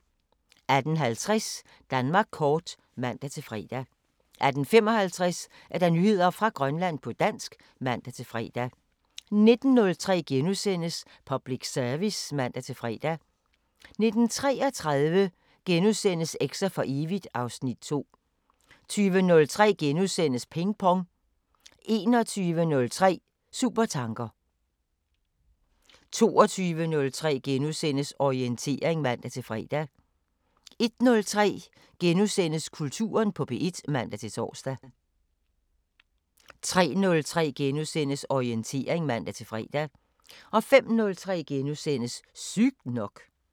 18:50: Danmark kort (man-fre) 18:55: Nyheder fra Grønland på dansk (man-fre) 19:03: Public Service *(man-fre) 19:33: Eks'er for evigt (Afs. 2)* 20:03: Ping Pong * 21:03: Supertanker 22:03: Orientering *(man-fre) 01:03: Kulturen på P1 *(man-tor) 03:03: Orientering *(man-fre) 05:03: Sygt nok *